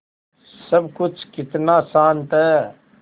सब कुछ कितना शान्त है